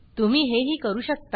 तुम्ही ही हे करू शकता